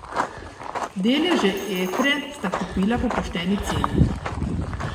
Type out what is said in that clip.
Deleže Etre sta kupila po pošteni ceni.